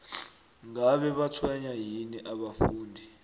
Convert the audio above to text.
ngabe batshwenywa yini abafundi